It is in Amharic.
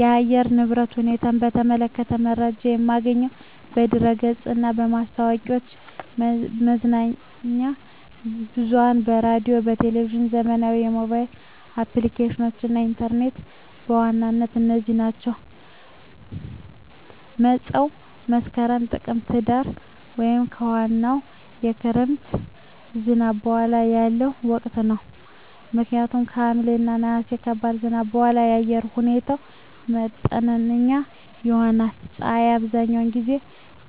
የአየር ንብረት ሁኔታን በተመለከተ መረጃ የማገኘው በድረ-ገጽ እና ማስታወቂያዎች፣ መገናኛ ብዙኃን በራዲዮ፣ በቴሊቭዥን፣ ዘመናዊ የሞባይል አፕሊኬሽኖች እና ኢንተርኔት በዋናነት እነዚህ ናቸው። መፀው መስከረም፣ ጥቅምትና ህዳር) ወይም ከዋናው የክረምት ዝናብ በኋላ ያለው ወቅት ነው። ምክንያቱም ከሐምሌ እና ነሐሴ ከባድ ዝናብ በኋላ የአየር ሁኔታው መጠነኛ ይሆናል። ፀሐይ አብዛኛውን ጊዜ